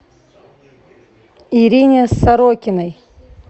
ирине сорокиной